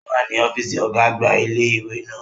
O wa ni ọfiisi ọga-agba ile-iwe naa.